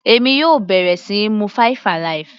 Èmi yóò bẹ̀rẹ̀ síí mu five alive.